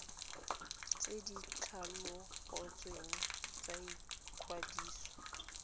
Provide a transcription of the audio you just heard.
tse di tlhabolotsweng tsa ikwadiso